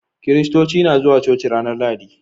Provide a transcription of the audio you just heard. Kiristoci na zuwa coci ranar Lahadi.